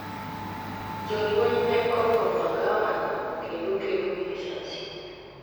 jolweny ne olworo magawano kendo kedo gi lisasi